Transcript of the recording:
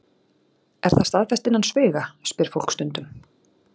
Er það staðfest innan sviga? spyr fólk stundum.